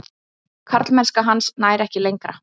Karlmennska hans nær ekki lengra.